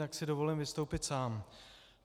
Tak si dovolím vystoupit sám.